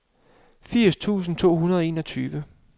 firs tusind to hundrede og enogtyve